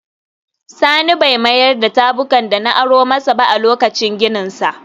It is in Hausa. Sani bai mayar da tabukan da na aro masa ba a lokacin gininsa